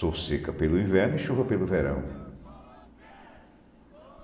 Sol seca pelo inverno e chuva pelo verão.